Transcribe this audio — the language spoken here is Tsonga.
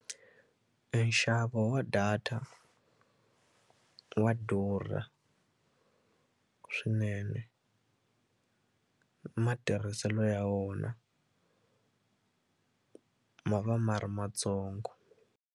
E nxavo wa data wa durha swinene matirhiselo ya wona ma va ma ri matsongo.